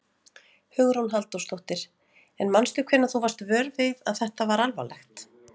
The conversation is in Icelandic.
Hugrún Halldórsdóttir: En manstu hvenær þú varst vör við það að þetta var alvarlegt?